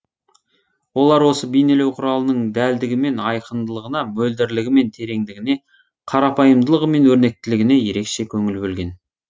олар осы бейнелеу құралының дәлдігі мен айқындылығына мөлдірлігі мен тереңдігіне қарапайымдылығы мен өрнектілігіне ерекше көңіл бөлген